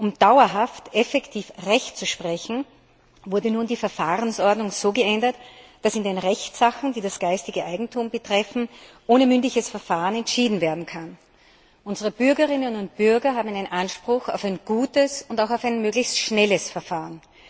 Um dauerhaft effektiv Recht sprechen zu können, wurde nun die Verfahrensordnung so geändert, dass in den Rechtssachen, die das geistige Eigentum betreffen, ohne mündliches Verfahren entschieden werden kann. Unsere Bürgerinnen und Bürger haben einen Anspruch auf ein gutes und möglichst schnelles Verfahren.